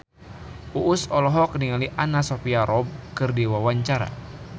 Uus olohok ningali Anna Sophia Robb keur diwawancara